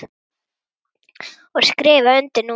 Ég skrifa undir núna.